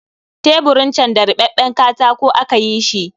Teburin can da ribabben katako aka yi shi